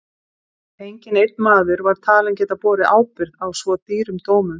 Enginn einn maður var talinn geta borið ábyrgð á svo dýrum dómum.